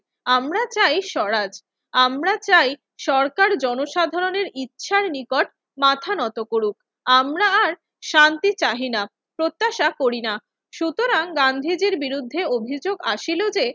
আমরা চাই স্বরাজ, আমরা চাই সরকার জনসাধারণের ইচ্ছার নিকট মাথা নত করুক। আমরা আর শান্তি চাহি না, প্রত্যাশা করি না। সুতরাং গান্ধীজির বিরুদ্ধে অভিযোগ আসিল যে